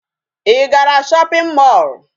Ị gara shopping mall?